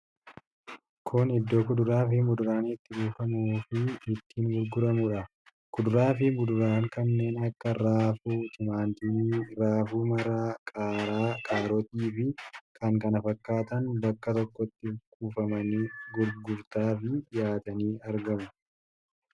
Kun Iddoo Kuduraa fi Muduraan itti kuufamuufii itti gurguramudha. Kuduraa fi Muduraan kanneen akka raafuu, timaatimii raafuu maramaa, qaaraa, kaarotii fi kan kana fakkaatan bakka tokkotti kuufamanii gurgurtaafi dhiyaatanii argamu.